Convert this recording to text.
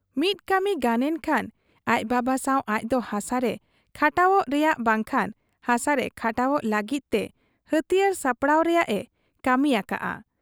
ᱢᱤᱫ ᱠᱟᱹᱢᱤ ᱜᱟᱱᱮᱱ ᱠᱷᱟᱱ ᱟᱡ ᱵᱟᱵᱟ ᱥᱟᱶ ᱟᱡᱫᱚ ᱦᱟᱥᱟᱨᱮ ᱠᱷᱟᱴᱟᱣᱜ ᱨᱮᱭᱟᱝ ᱵᱟᱝᱠᱷᱟᱱ ᱦᱟᱥᱟᱨᱮ ᱠᱷᱟᱴᱟᱣᱜ ᱞᱟᱹᱜᱤᱫ ᱛᱮ ᱦᱟᱹᱛᱤᱭᱟᱹᱨ ᱥᱟᱯᱲᱟᱣ ᱨᱮᱭᱟᱝ ᱮ ᱠᱟᱹᱢᱤᱭᱟᱠᱟᱜ ᱟ ᱾